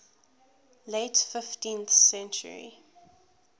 late fifteenth century